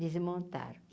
Desmontaram.